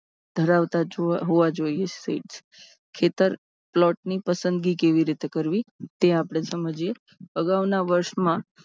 ધરાવતા હોવા જોઈએ. ખેતર plot ની પસંદગી કેવી રીતે કરવી? તે આપને જોઈએ. અગાઉના વર્ષોમાં